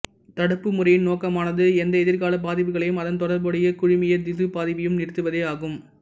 தடுப்பு முறையின் நோக்கமானது எந்த எதிர்காலப் பாதிப்புகளையும் அதன் தொடர்புடைய குழுமிய திசுப் பாதிப்பையும் நிறுத்துவதே ஆகும்